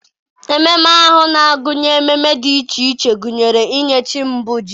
ememe ahụ na-agụnye ememe dị iche iche, gụnyere inye chi mbụ ji.